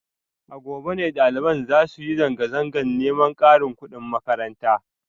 A gobe ne dalibai za su yi zanga-zangar neman karin kudin makaranta